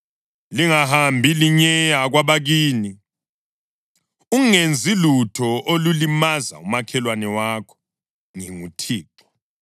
Lingahambi linyeya kwabakini. Ungenzi lutho olulimaza umakhelwane wakho. NginguThixo.